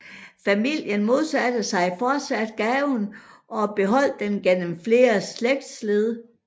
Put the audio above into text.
Familien modsatte sig fortsat gaven og beholdt den gennem flere slægtsled